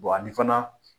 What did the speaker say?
ani fana